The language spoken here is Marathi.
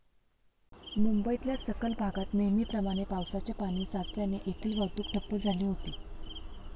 मुंबईतल्या सखल भागात नेहमीप्रमाणे पावसाचे पाणी साचल्याने येथील वाहतूक ठप्प झाली होती.